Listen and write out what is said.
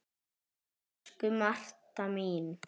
Elsku Marta mín.